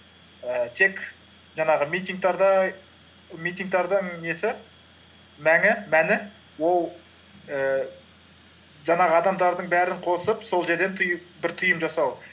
ііі тек жаңағы митингтардың несі мәні ол ііі жаңағы адамдардың бәрін қосып сол жерден бір түйін жасау